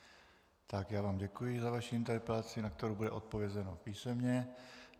Tak, já vám děkuji za vaši interpelaci, na kterou bude odpovězeno písemně.